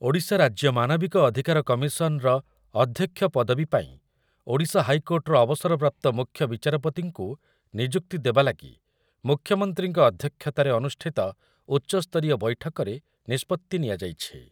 ଓଡ଼ିଶା ରାଜ୍ୟ ମାନବିକ ଅଧିକାର କମିଶନର ଅଧ୍ୟକ୍ଷ ପଦବୀ ପାଇଁ ଓଡ଼ିଶା ହାଇକୋର୍ଟର ଅବସରପ୍ରାପ୍ତ ମୁଖ୍ୟ ବିଚାରପତିଙ୍କୁ ନିଯୁକ୍ତି ଦେବା ଲାଗି ମୁଖ୍ୟମନ୍ତ୍ରୀଙ୍କ ଅଧ୍ୟକ୍ଷତାରେ ଅନୁଷ୍ଠିତ ଉଚ୍ଚସ୍ତରୀୟ ବୈଠକରେ ନିଷ୍ପତ୍ତି ନିଆଯାଇଛି ।